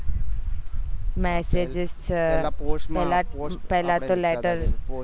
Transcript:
message છે પેલા તો letter